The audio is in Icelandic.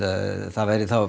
það væri